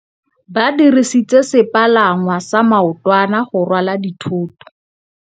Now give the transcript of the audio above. Ba dirisitse sepalangwasa maotwana go rwala dithôtô.